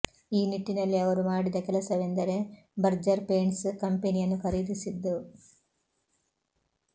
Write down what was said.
ಈ ನಿಟ್ಟಿನಲ್ಲಿ ಅವರು ಮಾಡಿದ ಕೆಲಸವೆಂದರೆ ಬರ್ಜರ್ ಪೇಂಟ್ಸ್ ಕಂಪನಿಯನ್ನು ಖರೀದಿಸಿದ್ದು